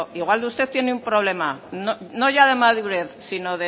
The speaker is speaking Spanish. igual usted tiene un problema no ya de madurez sino